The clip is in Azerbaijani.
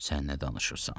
Sən nə danışırsan?